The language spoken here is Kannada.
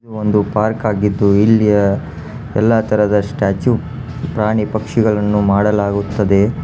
ಇದು ಒಂದು ಪಾರ್ಕ್ ಆಗಿದ್ದು ಇಲ್ಲಿ ಎಲ್ಲಾ ತರದ ಸ್ಟ್ಯಾಚು ಪ್ರಾಣಿ ಪಕ್ಷಿಗಳನ್ನು ಮಾಡಲಾಗುತ್ತದೆ.